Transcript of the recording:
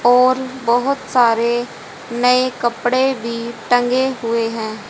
और बहोत सारे नए कपड़े भी टंगे हुए हैं।